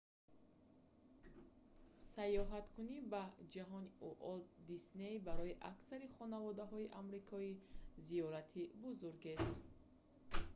сайёҳаткунӣ ба ҷаҳони уолт дисней барои аксари хонаводаҳои амрикоӣ зиёрати бузургест